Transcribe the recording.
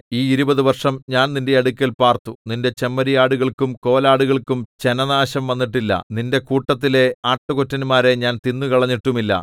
ഈ ഇരുപതു വർഷം ഞാൻ നിന്റെ അടുക്കൽ പാർത്തു നിന്റെ ചെമ്മരിയാടുകൾക്കും കോലാടുകൾക്കും ചനനാശം വന്നിട്ടില്ല നിന്റെ കൂട്ടത്തിലെ ആട്ടുകൊറ്റന്മാരെ ഞാൻ തിന്നുകളഞ്ഞിട്ടുമില്ല